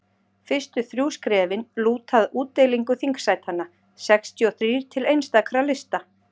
fyrstu þrjú skrefin lúta að útdeilingu þingsætanna sextíu og þrír til einstakra lista